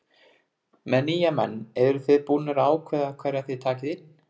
Með nýja menn eruð þið búnir að ákveða hverja þið takið inn?